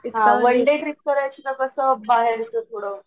one day trip करायची का कसं